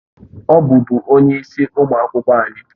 Ọ bụbu onye isi ụmụ akwụkwọ anyị